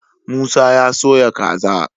Musa ya soya kaza